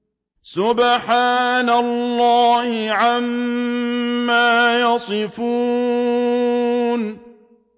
سُبْحَانَ اللَّهِ عَمَّا يَصِفُونَ